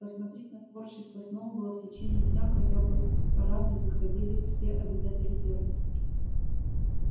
посмотреть на творчество сноуболла в течение дня хотя бы по разу заходили все обитатели фермы